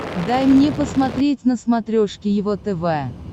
дай мне посмотреть на смотрешке его тв